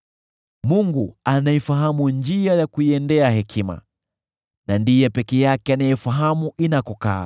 Mungu anaifahamu njia ya kuiendea hekima na ndiye peke yake anayefahamu inakokaa,